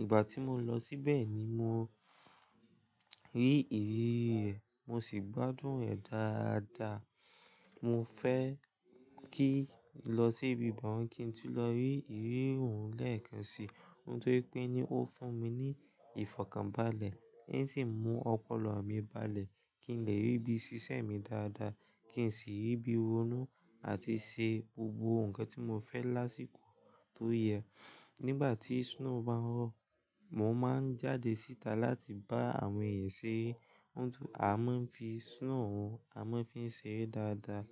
Ìgbà tí mo lọ síbẹ̀ ni mo rí ìrírí rẹ̀, mo sì gbádùn rẹ̀ dáadáa. Mo fẹ́ kí ì lọ sí ibi bọ̀ wá kí n lè rí ìrírí òun lẹ́ẹ̀kan sì. Ohun tórípé ni ó fún mi ní ìfọ̀kànbalẹ̀ kí n sì mú ọpọlọ mi balẹ̀ kí n lè rí bí iṣẹ́ mi dáadáa, kí n sì rí bí i ronú àti ṣe gbogbo ǹkan tí mo fẹ́ lásìkò tó yẹ. Nígbà tí snow bá ń rọ̀, mo máa ń jáde síta láti bá àwọn ẹ̀yàn ṣeré. Ohun tó-- a máa ń fi snow hàn, a máa ń fi ṣeré dáadáa.